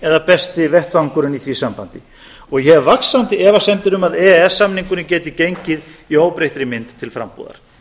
eða besti vettvangurinn í því sambandi og ég hef vaxandi efasemdir um að e e s samningurinn geti gengið í óbreyttri mynd til frambúðar